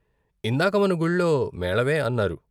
ఇందాక మన గుళ్లో మేళమే అన్నారు.